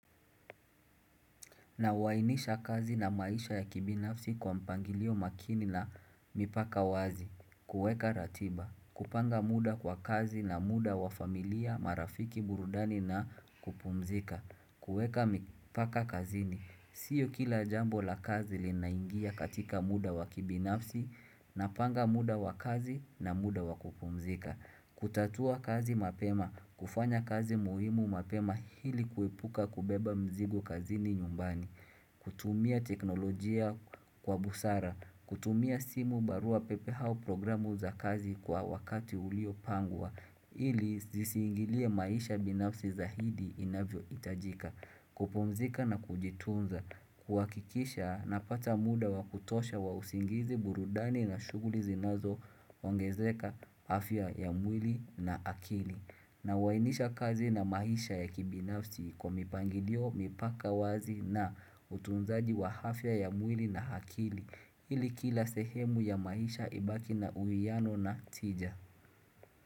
Nawainisha kazi na maisha ya kibinafsi kwa mpangilio makini na mipaka wazi kuweka ratiba kupanga muda kwa kazi na muda wa familia marafiki burudani na kupumzika kuweka mipaka kazini Sio kila jambo la kazi linaingia katika muda wa kibinafsi Napanga muda wa kazi na muda wa kupumzika kutatua kazi mapema kufanya kazi muhimu mapema hili kuipuka kubeba mzigo kazini nyumbani kutumia teknolojia kwa busara kutumia simu barua pepe au programu za kazi kwa wakati uliopangwa ili ziziingilie maisha binafsi zahidi inavyohitajika kupumzika na kujitunza kuhakisha napata muda wa kutosha wa usingizi burudani na shuguli zinazo Wangezeka afya ya mwili na akili Nawainisha kazi na maisha ya kibinafsi kwa mipangilio mipaka wazi na utunzaji wa afya ya mwili na akili ili kila sehemu ya maisha ibaki na uiano na tija.